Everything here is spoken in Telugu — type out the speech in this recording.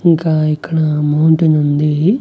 ఇంకా ఇక్కడ అమౌంటు నుంది .